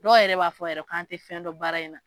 Dɔw yɛrɛ b'a fɔ yɛrɛ k' an tɛ fɛn dɔ baara in na.